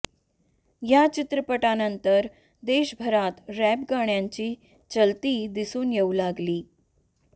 या चित्रपटानंतर देशभरात रॅप गाण्याची चलती दिसून येऊ लागली